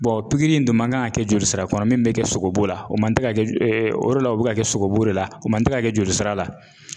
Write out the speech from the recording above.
Bɔn pigiri in dun man kan ka kɛ jolisira kɔnɔ min be kɛ sogobu la o man te ka kɛ e e o de la o be ka kɛ sogo bu de la o man te ka kɛ jolisira la